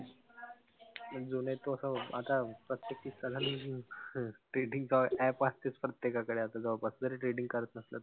जो नाई तो असा आता trading च app असतेच प्रत्येकाकडे आता जवळपास जरी trading करत नसला.